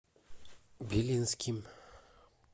белинским